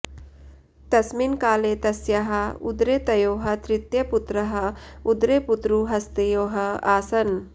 तस्मिन् काले तस्याः उदरे तयोः तृतीयपुत्रः उदरे पुत्रु हस्तयोः आसन्